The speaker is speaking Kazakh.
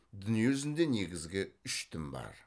дүние жүзінде негізгі үш дін бар